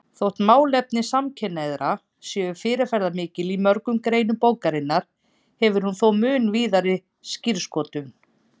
Þótt málefni samkynhneigðra séu fyrirferðarmikil í mörgum greinum bókarinnar hefur hún þó mun víðari skírskotun.